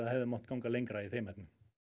hefði mátt ganga lengra í þeim efnum